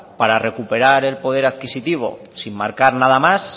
para recuperar el poder adquisitivo sin marcar nada más